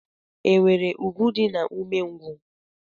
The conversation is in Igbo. E nwere ùgwù dị na umengwu?